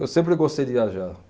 Eu sempre gostei de viajar.